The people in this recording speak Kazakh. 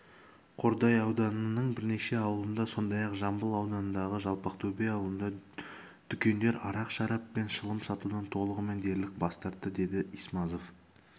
қордай ауданының бірнеше ауылында сондай-ақ жамбыл ауданындағы жалпақтөбе ауылында дүкендер арақ-шарап пен шылым сатудан толығымен дерлік бас тартты деді исмазов